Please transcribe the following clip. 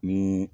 Ni